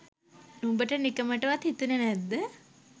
උඹට නිකමටවත් හිතුනෙ නැද්ද